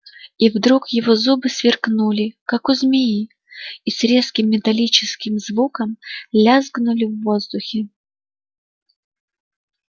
и вдруг его зубы сверкнули как у змеи и с резким металлическим звуком лязгнули в воздухе